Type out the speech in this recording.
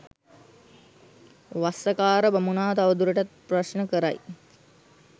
වස්සකාර බමුණා තවදුරටත් ප්‍රශ්න කරයි.